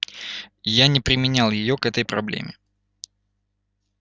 я не применял её к этой проблеме